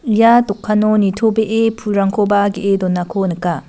ia dokano nitobee pulrangkoba ge·e donako nika.